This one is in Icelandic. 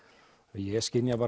ég skynja